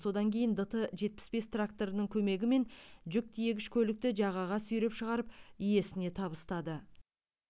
содан кейін дт жетпіс бес тракторының көмегімен жүк тиегіш көлікті жағаға сүйреп шығарып иесіне табыстады